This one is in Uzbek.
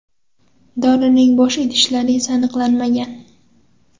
Dorining bo‘sh idishlari esa aniqlanmagan.